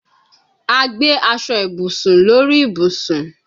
A gbe aso ibusun lori ibusun